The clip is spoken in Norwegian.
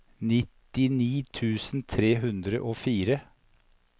nittini tusen tre hundre og fire